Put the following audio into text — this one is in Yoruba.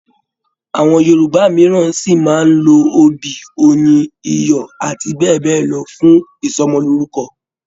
Àwọn Yorùbá mìíràn sí máa n lo obì, oyin, iyọ̀ àti bẹ́ẹ̀ bẹ́ẹ̀ lọ fún ìsọmọlorúkọ.